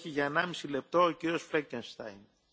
Herr Präsident, liebe Kolleginnen und Kollegen!